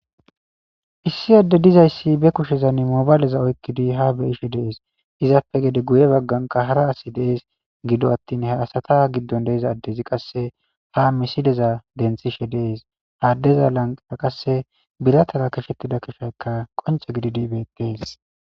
Issi ade dizaysa be kushezani mobileza oykidi ha be'ishe des izape gede guye bagankka hara asi de'ese gido attin ha asata gidon de'iza Ades qase ha misileza denthishe des ha adeza lanqera qase bitara qashetida keshaykka qonce gididi betese